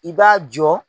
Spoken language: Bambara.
I b'a jɔ